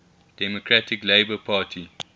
democratic labour party